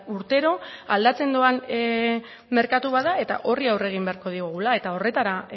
urtero aldatzen doan merkatu bat da eta horri aurre egin beharko diogula eta horretara